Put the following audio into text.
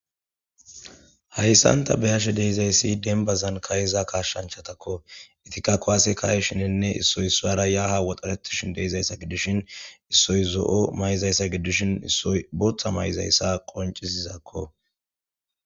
Hayssanta behashe deizayssi denbazan kayiza kashshanchatakko itika kowaase kaye shininne issoy suwara yaha woxaretishin deizayssa gidishin issoy zo'o may'izayssa gidishin issoy bootha may'izayssa qoncisizakko.